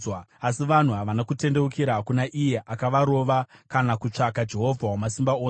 Asi vanhu havana kutendeukira kuna iye akavarova, kana kutsvaka Jehovha Wamasimba Ose.